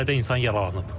Çox sayda insan yaralanıb.